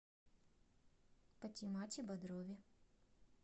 патимате бодрове